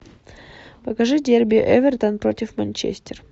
покажи дерби эвертон против манчестер